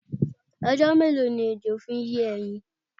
Ọjọ́ mélòó ni ejo fi ń yé ẹyin?